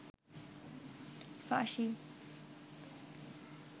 ফাঁসি